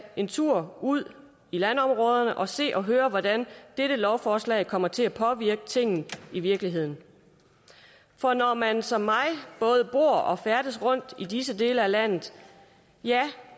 en tur ud i landområderne og se og høre hvordan dette lovforslag kommer til at påvirke tingene i virkeligheden for når man som mig både bor og færdes rundt i disse dele af landet ja